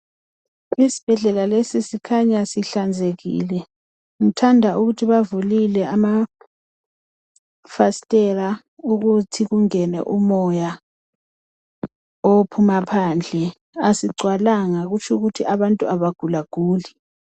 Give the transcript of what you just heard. isibhedlela lesi sikhanya sihlanzekile ngithanda ukuthi bavulile ama fastela ukuthi kungene umoya ophuma phandle ,asigcwalanga kutsho ukuthi abantu abagulaguli